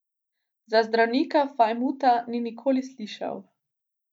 Za Zdravka Fajmuta ni nikoli slišal.